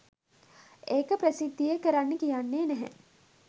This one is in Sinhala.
ඒක ප්‍රසිද්ධියේ කරන්නේ කියන්නේ නැහැ.